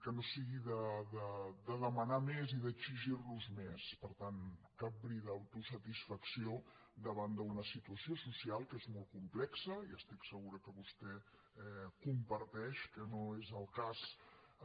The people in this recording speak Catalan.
que no sigui de demanar més i d’exigir nos més per tant cap bri d’autosatisfacció davant d’una situació social que és molt complexa i estic segura que vostè ho comparteix que no és el cas